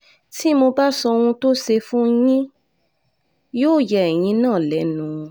tí mo bá sọ ohun tó ṣe fún yín yóò ya ẹ̀yin náà lẹ́nu